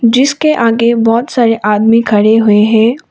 जिसके आगे बहोत सारे आदमी खड़े हुए हैं।